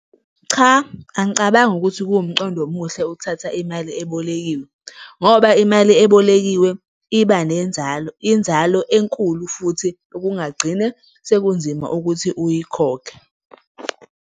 Cha, angicabangi ukuthi kuwumqondo omuhle ukuthatha imali ebolekiwe, ngoba imali ebolekiwe iba nenzalo, inzalo enkulu futhi okungagcine sekunzima ukuthi uyikhokhe.